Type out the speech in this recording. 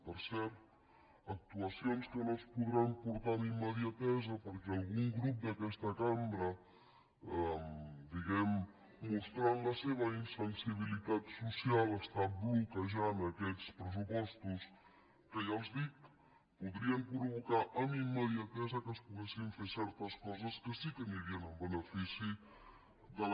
per cert actuacions que no es podran portar amb immediatesa perquè algun grup d’aquesta cambra diguem ne mostrant la seva insensibilitat social està bloquejant aquests pressupostos que ja els ho dic podrien provocar amb immediatesa que es poguessin fer certes coses que sí que anirien en benefici de la